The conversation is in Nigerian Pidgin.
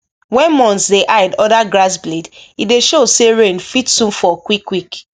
when moths dey hide under grass blade e dey show say rain fit soon fall quick quick